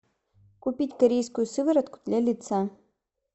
купить корейскую сыворотку для лица